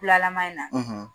Bulalaman in na